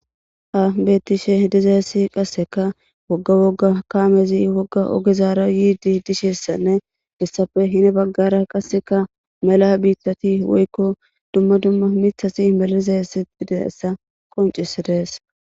Ha betishe dizzayssi qassikka woga woga kameti woga ogerra yizzayssa hessappe gede bagara mela mitati woyko duma duma bitati dizayssa besees.